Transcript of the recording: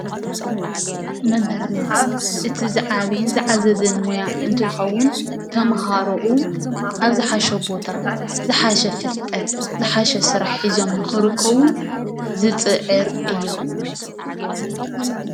መምህርነት እቲ ዝዓበየን ዝዓዘዘን ሞያ እትኸውን ተምሃርኡ አብ ዝሓሸ ቦታ ዝሓሸ ፍልጠት ዝሓሸ ስራሕ ሒዞም ንኸርከቡ ዝፅዕር እዩ፡፡